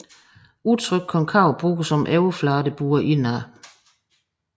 Udtrykket konkav bruges om overflader der buer indad